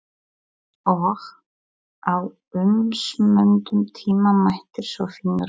Og á umsömdum tíma mætir svo Finnur hjá